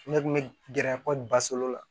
Ne kun bɛ gɛrɛ kɔli basa olu la